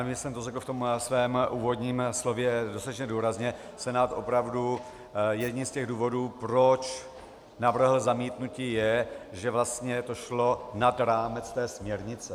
Vím, že jsem to řekl v tom svém úvodním slově dostatečně důrazně, Senát opravdu, jedním z těch důvodů, proč navrhl zamítnutí, je, že vlastně to šlo nad rámec té směrnice.